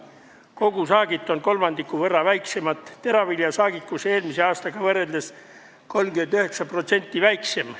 Kogusaagid on kolmandiku võrra väiksemad, teravilja saagikus eelmise aasta omaga võrreldes 39% madalam.